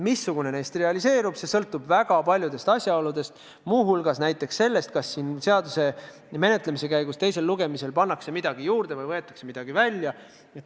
Missugune neist realiseerub, sõltub väga paljudest asjaoludest, muu hulgas näiteks sellest, kas siin seaduseelnõu menetlemise käigus teisel lugemisel pannakse midagi juurde või võetakse midagi välja.